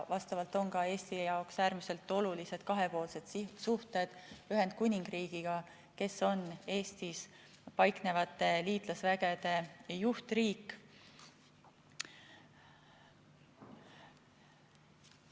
Eesti jaoks on äärmiselt olulised ka kahepoolsed suhted Ühendkuningriigiga, kes on Eestis paiknevate liitlasvägede juhtriik.